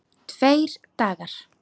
Tveir dagar!